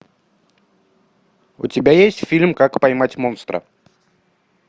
у тебя есть фильм как поймать монстра